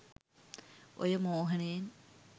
ඔය මෝහනයෙන්